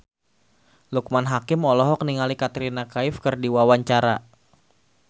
Loekman Hakim olohok ningali Katrina Kaif keur diwawancara